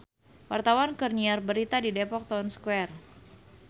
Wartawan keur nyiar berita di Depok Town Square